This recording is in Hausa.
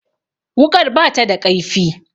Wuƙar ba ta da ƙaifi